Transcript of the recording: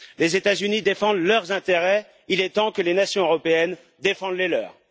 Les États Unis défendent leurs intérêts, il est temps que les nations européennes défendent les leurs.